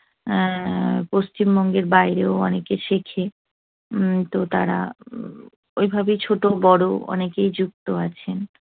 এর পশ্চিমবঙ্গের বাইরেও অনেকে শেখে। উম তো তারা হম ওইভাবেই ছোট বড় অনেকেই যুক্ত আছেন।